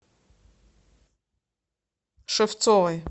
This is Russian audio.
шевцовой